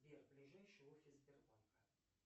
сбер ближайший офис сбербанка